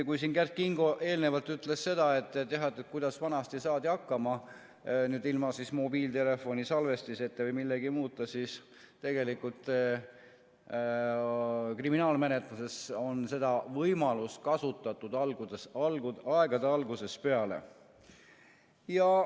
Kui Kert Kingo eelnevalt ütles seda, kuidas vanasti saadi hakkama ilma mobiiltelefoni salvestiseta või millegi muuta, siis tegelikult kriminaalmenetluses on seda võimalust kasutatud aegade algusest peale.